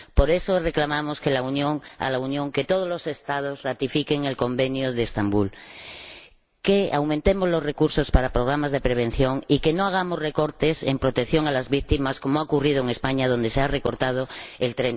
Por eso, reclamamos a la Unión que todos los Estados ratifiquen el Convenio de Estambul, que aumentemos los recursos para programas de prevención y que no hagamos recortes en protección a las víctimas, como ha ocurrido en España, donde se ha recortado el